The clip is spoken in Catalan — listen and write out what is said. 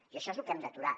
i això és lo que hem d’aturar